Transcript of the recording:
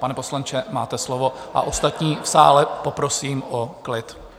Pane poslanče, máte slovo, a ostatní v sále poprosím o klid.